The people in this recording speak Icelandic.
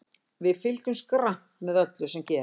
Við fylgjumst grannt með öllu sem gerist.